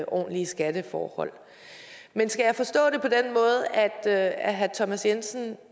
ordentlige skatteforhold men skal jeg forstå det på den måde at herre thomas jensen